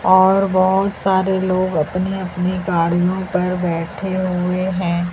और बहुत सारे लोग अपने अपने गाड़ियों पर बैठे हुए हैं।